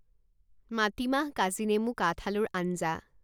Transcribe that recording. মাটিমাহ কাজিনেমু কাঠআলুৰ আঞ্জা